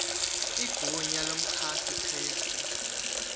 igunya lomchasi krestu